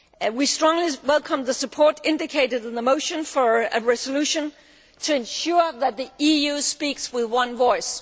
We strongly welcome the support indicated in the motion for a resolution to ensure that the EU speaks with one voice.